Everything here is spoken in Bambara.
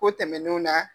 Ko tɛmɛnenw na